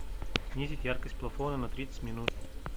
снизить яркость плафона на тридцать минут